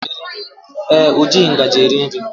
Ee, o jighị ngaji eri nri